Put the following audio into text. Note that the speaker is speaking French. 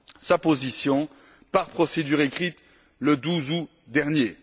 sa position par procédure écrite le 12 août dernier.